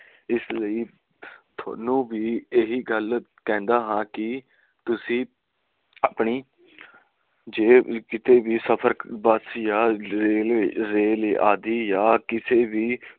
ਇਸ ਲਈ ਥੋਨੂੰ ਵੀ ਇਹੀ ਕਹਿੰਦਾ ਹਾਂ ਕਿ ਤੁਸੀ ਆਪਣੀ ਜੇਬ ਕੀਤੇ ਵੀ ਸਫਰ ਬੱਸ ਜਾਂ ਰੇਲ ਆਦਿ ਜਾਂ ਕਿਸੇ ਵੀ